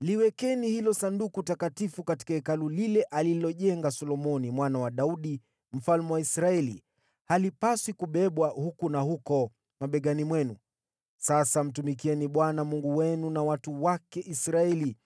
“Liwekeni hilo Sanduku takatifu katika Hekalu lile alilojenga Solomoni mwana wa Daudi mfalme wa Israeli. Halipaswi kubebwa huku na huko mabegani mwenu. Sasa mtumikieni Bwana Mungu wenu na watu wake Israeli.